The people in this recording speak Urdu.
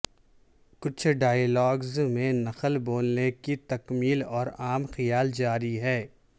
کچھ ڈائیلاگز میں نقل بولنے کی تکمیل اور عام خیال جاری ہے